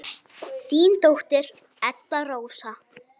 Þín dóttir, Edda Rósa.